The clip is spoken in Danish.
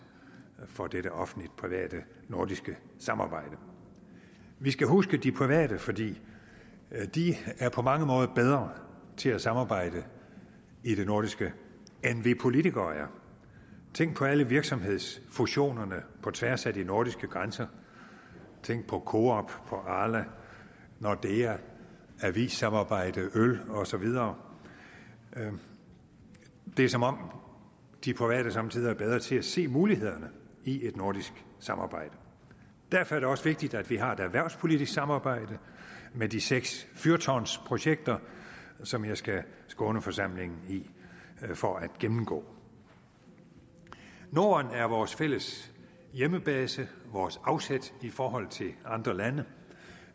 for dette offentlig private nordiske samarbejde vi skal huske de private for de er på mange måder bedre til at samarbejde i det nordiske end vi politikere er tænk på alle virksomhedsfusionerne på tværs af de nordiske grænser tænk på coop arla nordea avissamarbejde øl og så videre det er som om de private somme tider er bedre til at se mulighederne i et nordisk samarbejde derfor er det også vigtigt at vi har et erhvervspolitisk samarbejde med de seks fyrtårnsprojekter som jeg skal skåne forsamlingen for at gennemgå norden er vores fælles hjemmebase vores afsæt i forhold til andre lande